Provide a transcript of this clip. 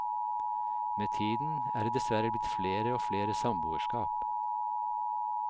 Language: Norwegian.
Med tiden er det dessverre blitt flere og flere samboerskap.